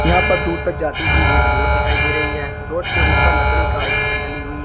यहां पर दूर तक जाती हुई एक रोड दिखाई दे रही है रोड के ऊपर लकड़ी का एक छत ढली हुई है।